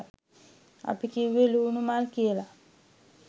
අපි කිව්වේ ලුණු මල් කියල.